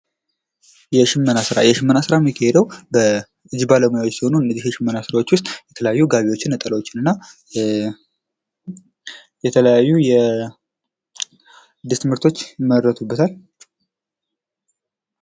የሽመና ስራ የሽመና ስራ ሚካሄደው በእጅ ባለሙያዎች ሲሆን ከነዚህ የሽመና ስራዎች ውስጥ ጋቢዎችን፣ ነጠላዎችን እና የተለያዩ የልብስ ምርቶች ይመረቱበታል።